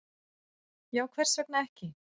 Já, hvers vegna ekki?